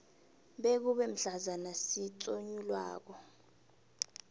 bekube mhlazana sitsonyulwako